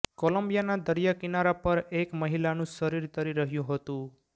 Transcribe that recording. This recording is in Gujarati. કોલંબિયાના દરિયા કિનારા પર એક મહિલાનું શરીર તરી રહ્યું હતું